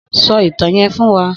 Sò itàn yèn fún wà